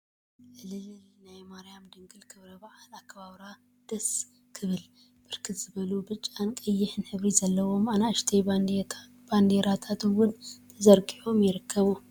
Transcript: ዕል!ል!ል!ል!… ናይ ማርያም ድንግል ክብረ በዓል አከባብራ ደስስስስስ! ክብል፡፡ ብርክት ዝበሉ ብጫን ቀይሕን ሕብሪ ዘለዎም አናእሽተይ ባንዴራታት እውን ተዘርጊሖም ይርከቡ፡፡